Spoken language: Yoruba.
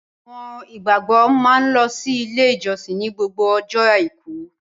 Àwọn ìgbàgbọ́ a máa lọ sí ilé ìjósìn ni gbogbo ọjọ́ Àìkú.